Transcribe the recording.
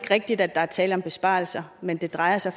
rigtigt at der er tale om besparelser men det drejer sig